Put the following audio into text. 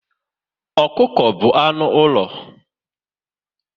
Ọkụkọ bụ anụ ụlọ